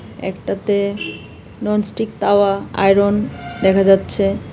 একটাতে nonstick tawa iron দেখা যাচ্ছে .